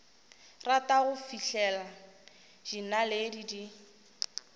rata go fihlela dinaledi di